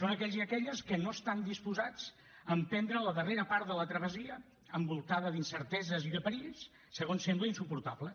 són aquells i aquelles que no estan disposats a emprendre la darrera part de la travessia envoltada d’incerteses i de perills segons sembla insuportables